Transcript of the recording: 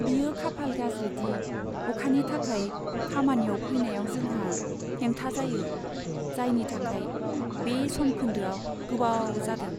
बेयो जोबोद खाफाल गाज्रि दि अखानि थाखाय खामानियाव फैनायाव जोंहा हेंथा जायो, जायनि थाखाय बे समखोन्दोआव गोबाव जादों।